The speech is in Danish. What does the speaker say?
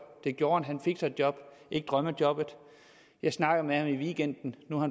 det gjorde han han fik sig et job ikke drømmejobbet jeg snakkede med ham i weekenden nu har